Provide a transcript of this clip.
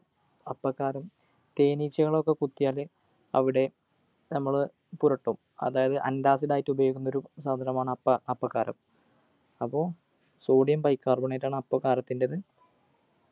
അപ്പകാരം തേനീച്ചകളൊക്കെ കുത്തിയാൽ അവിടെ നമ്മൾ പുരട്ടും അതായത് antacid ആയിട്ട് ഉപയോഗിക്കുന്ന ഒരു സാധനമാണ് അപ്പ അപ്പകാരം അപ്പോ sodium bicarbonate ആണ് അപ്പകാരത്തിൻ്റെത്